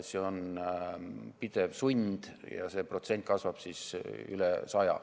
See on pidev sund ja protsent kasvab siis üle 100.